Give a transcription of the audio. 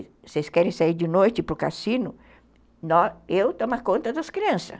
Se vocês querem sair de noite para o cassino, eu tomo a conta das crianças.